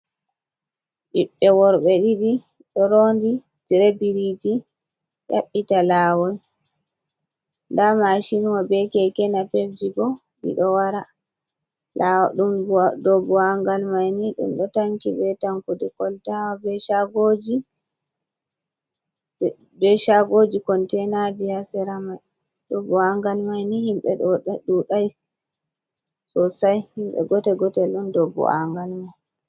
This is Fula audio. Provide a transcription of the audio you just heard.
Ɓiɓɓe worɓe ɗiɗi, ɗo roondi tire biriiji ƴaɓɓita laawol, ndaa maacinwa, be keke napebji bo ɗi ɗo wara. Dow buwaangal may ni, ɗum ɗo tanki be tankude koltawa, be caagooji. Konteynaaji haa sera may, dow bu’angal myini himɓe ɗuuday soosay, himɓe goote gootel on, dow bu’angal may.